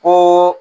Ko